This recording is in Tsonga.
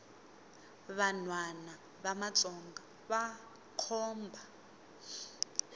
vanhwana va matsonga vakhomba